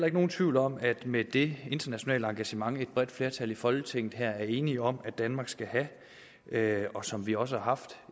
ikke nogen tvivl om at med det internationale engagement som et bredt flertal i folketinget her er enige om at danmark skal have og som vi også har haft